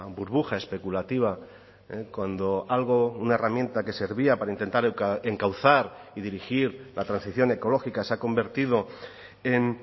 burbuja especulativa cuando algo una herramienta que servía para intentar encauzar y dirigir la transición ecológica se ha convertido en